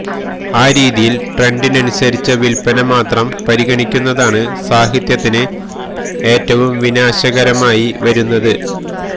ആ രീതിയില് ട്രെന്ഡിനനുസരിച്ച വില്പ്പന മാത്രം പരിഗണിക്കുന്നതാണ് സാഹിത്യത്തിന് ഏറ്റവും വിനാശകരമായി വരുന്നത്